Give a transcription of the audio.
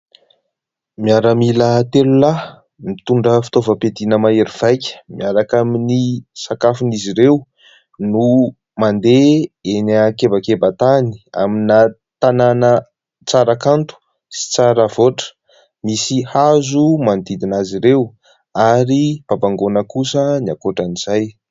Miaramila telo lahy mitondra fitaovam-piadiana mahery vaika, miaraka amin'ny sakafon'izy ireo no mandeha eny akebakebantany amina tanàna tsara kanto sy tsara vokatra; misy hazo manodidina azy ireo ary babangona kosa ny ankotran'izay.